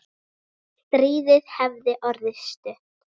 Stríðið hefði orðið stutt.